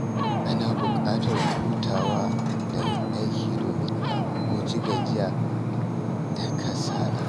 Ana bukatar hutawa daga aiki domin a guji gajiya da kasala.